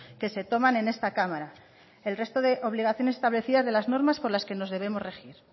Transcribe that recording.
que se toman en esta cámara el resto de obligaciones establecidas de las normas por las que nos debemos regir